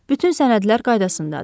Bütün sənədlər qaydasındadır.